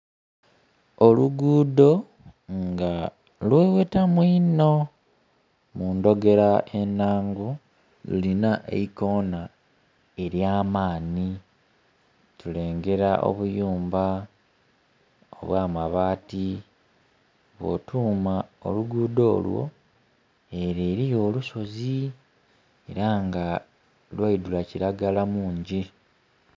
Olugudho nga lweghetamu inho, mu ndhogera enangu, lulina eikona elyamaani. Tulengera obuyumba obw'amabaati, bwotuuma olugudho olwo, ere eriyo olusozi era nga lwaidula kiragala mungi.